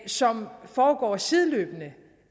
som foregår sideløbende